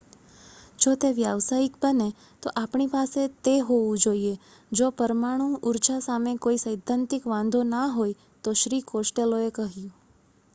"""જો તે વ્યવસાયિક બને તો આપણી પાસે તે હોવું જોઈએ. જો પરમાણુ ઉર્જા સામે કોઈ સૈદ્ધાંતિક વાંધો ના હોય તો" શ્રી કોસ્ટેલોએ કહ્યું.